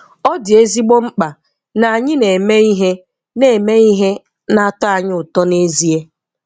Ọ dị ezigbo mkpa na anyị na-eme ihe na-eme ihe na-atọ anyị ụtọ n'ezie!